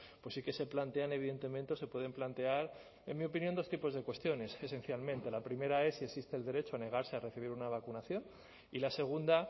pues sí que se plantean evidentemente o se pueden plantear en mi opinión dos tipos de cuestiones esencialmente la primera es si existe el derecho a negarse a recibir una vacunación y la segunda